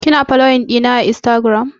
Kina foloyin ɗina a instagiram?